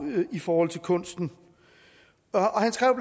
i forhold til kunsten